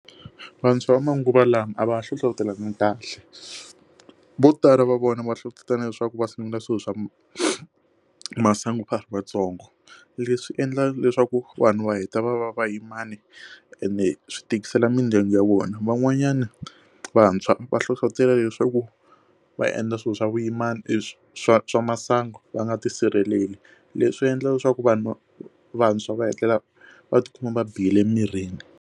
Vantshwa va manguva lawa a va hlohlotelana kahle vo tala va vona va hlohlotelana leswaku va sungula swilo swa masangu a ha ri vatsongo leswi endla leswaku vanhu va heta va va va yimani ene swi tikisela mindyangu ya vona, van'wanyana vantshwa va hlohlotela leswaku va endla swilo swa vuyimana i swa swa swa masangu va nga tisirheleli leswi endla leswaku vanhu vantshwa va hetelela va tikuma va bihile emirini.